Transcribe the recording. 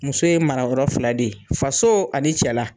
Muso ye marayɔrɔ fila de ye, faso ani cɛla.